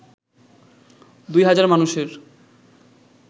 ২ হাজার মানুষের